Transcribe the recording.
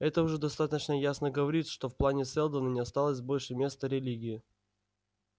это уже достаточно ясно говорит что в плане сэлдона не осталось больше места религии